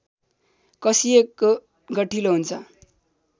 कसिएको गठिलो हुन्छ